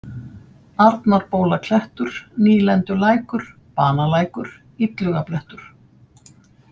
Arnarbólaklettur, Nýlendulækur, Banalækur, Illugablettur